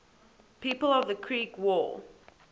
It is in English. people of the creek war